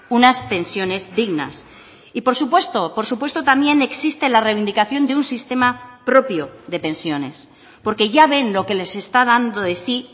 unas pensiones dignas y por supuesto por supuesto también existe la reivindicación de un sistema propio de pensiones porque ya ven lo que les está dando de sí